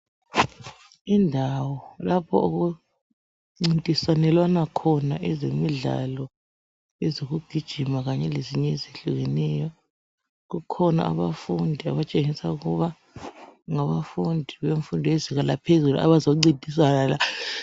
Indawo lapho okuncintiselwana khona ezemidlalo ezokugijina kanye lezinye ezehlukeneyo. Kukhona abafundi abatshengisa ukuba ngabafundi bemfundo yezinga laphezulu bazoncintisana.